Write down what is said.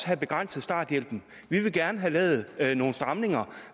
have begrænset starthjælpen vi vil gerne have lavet nogle stramninger